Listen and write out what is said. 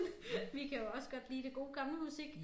Vi kan jo også godt lide det gode gamle musik